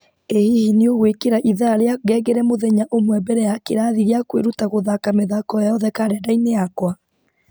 ĩ hihi nĩ ũgwĩkĩra ithaa rĩa ngengere mũthenya ũmwe mbere ya kĩrathi gĩa kwĩruta gũthaka mĩthako yothe karenda-inĩ yakwa